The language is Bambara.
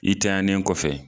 I tanɲanen kɔfɛ